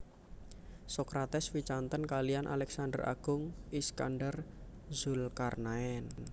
Sokrates wicanten kaliyan Aleksander Agung Iskandar Zulkarnaen